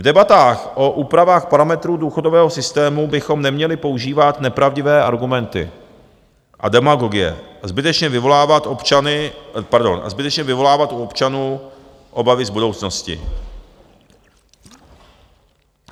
V debatách o úpravách parametrů důchodového systému bychom neměli používat nepravdivé argumenty a demagogie a zbytečně vyvolávat u občanů obavy z budoucnosti.